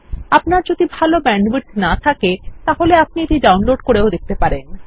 আপনার যদি ভাল ব্যান্ডউইডথ না থাকে আপনি এটি ডাউনলোড করেও দেখতে পারেন